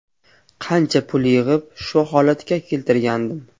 Qancha pul yig‘ib, shu holatga keltirgandim.